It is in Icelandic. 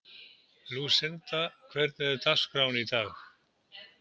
Lúsinda, hvernig er dagskráin í dag?